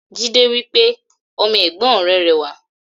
Jídé wípé "Ọmọ Ègbón rè rẹwà"